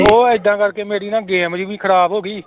ਉਹ ਏਦਾਂ ਕਰਕੇ ਮੇਰੀ ਨਾ game ਜਿਹੀ ਵੀ ਖ਼ਰਾਬ ਹੋ ਗਈ